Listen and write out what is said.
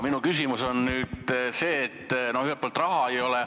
Ühelt poolt ei ole raha.